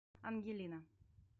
ангелина